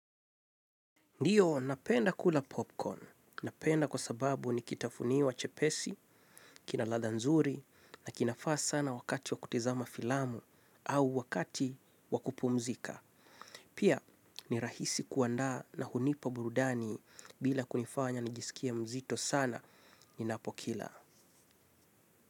Ndio, napenda kula popcorn. Napenda kwa sababu ni kitafunio chepesi, kina ladha nzuri na kinafaa sana wakati wa kutizama filamu au wakati wa kupumzika. Pia ni rahisi kuandaa na hunipa burudani bila kunifanya nijisikie mzito sana ninapokila.